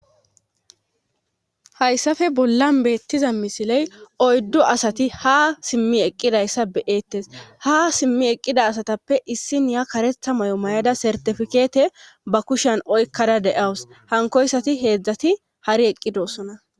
Hayssafe bollan beettiza misiley oyddu asati ha simmi eqqidayssa beyeettes ha simmi eqqida asatappe issin ya karetha may'o may'ada sartifikeete ba kushan oykkada deyawus hankoyssati heedzdzati hari eqqidosona.